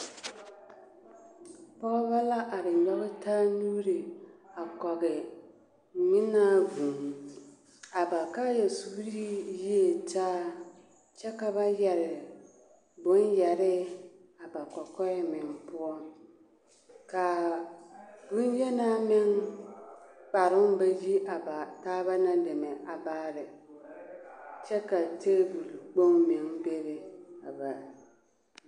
Pɔgebɔ la are nyoge taa nuure a kɔge ngmenaa vūū a ba kaayɛ suuree yie taa kyɛ ka ba yɛre bon yɛre a ba kɔkɔɛ meŋ poɔ kaa bonyenaa meŋ kparoo ba yi a ba taaba na deme a baare kyɛ ka tabole kpoŋ meŋ bebe a ba.